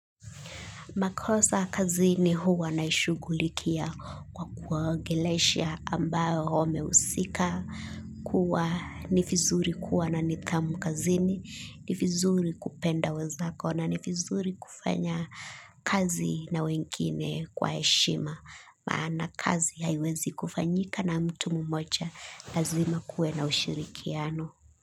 Makosa kazini huwa naishugulikia kwa kwa gelesha ambayo wameusika kuwa nifizuri kuwa na nithamu kazini nifizuri kupenda wezako na nifizuri kufanya kazi na wengine kwa eshima. Maana kazi haiwezi kufanyika na mtu mmoja lazima kuwe na ushirikiano.